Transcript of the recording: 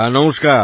নমস্কার